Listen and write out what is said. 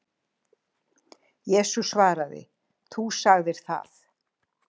Jesús svaraði: Þú sagðir það